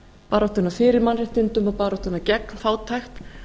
baráttuna fyrir mannréttindum og baráttuna gegn fátækt